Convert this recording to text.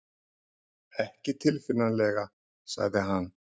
Ekki tilfinnanlega sagði hann.